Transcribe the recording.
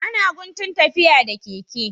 Ana guntun tafiya da keke.